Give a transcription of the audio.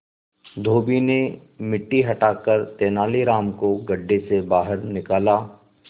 धोबी ने मिट्टी हटाकर तेनालीराम को गड्ढे से बाहर निकाला